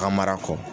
Ka mara kɔ